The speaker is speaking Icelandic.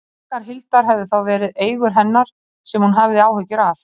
Baggar Hildar hefðu þá verið eigur hennar sem hún hafði áhyggjur af.